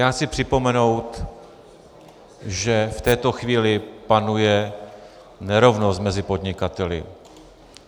Já chci připomenout, že v této chvíli panuje nerovnost mezi podnikateli.